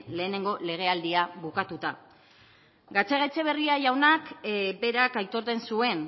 lehenengo legealdia bukatuta gatzagaetxebarria jaunak berak aitortzen zuen